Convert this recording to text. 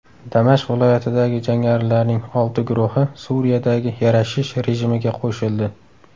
Damashq viloyatidagi jangarilarning olti guruhi Suriyadagi yarashish rejimiga qo‘shildi.